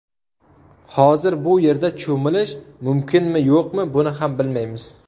Hozir bu yerda cho‘milish mumkinmi-yo‘qmi, buni ham bilmaymiz.